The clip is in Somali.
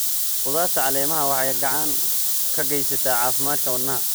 Khudaarta caleemaha waxay gacan ka geystaan caafimaadka wadnaha.